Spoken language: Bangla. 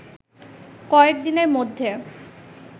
কয়েক দিনের মধ্যে